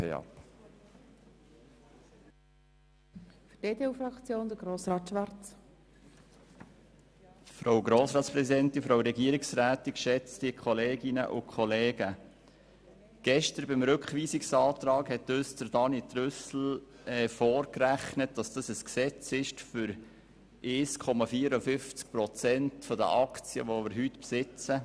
Gestern hat uns Grossrat Trüssel im Zusammenhang mit dem Rückweisungsantrag vorgerechnet, dass dies ein Gesetz ist, um 1,54 Prozent der Aktien zu verkaufen, welche wir heute besitzen.